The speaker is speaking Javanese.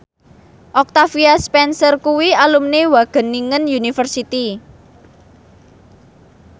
Octavia Spencer kuwi alumni Wageningen University